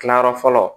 Kilayɔrɔ fɔlɔ